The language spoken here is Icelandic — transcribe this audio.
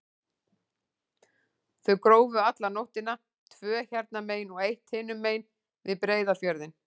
Þau grófu alla nóttina, tvö hérna megin og eitt hinum megin, við Breiðafjörðinn.